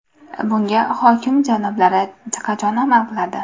Bunga hokim janoblari qachon amal qiladi?